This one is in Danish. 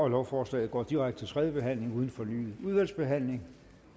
lovforslaget går direkte tredje behandling uden fornyet udvalgsbehandling